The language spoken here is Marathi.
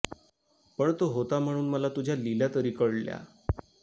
पण तो होता म्हणून मला तुझ्या लीला तरी कळल्या